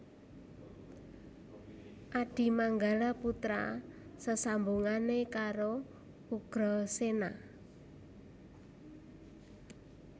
Adimanggala putra sesambungane karo Ugrasena